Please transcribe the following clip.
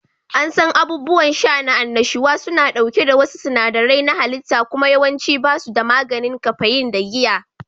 An san abubuwan sha na annashuwa suna ɗauke da wasu sinadarai na halitta kuma yawanci ba su da maganin kafeyin da giya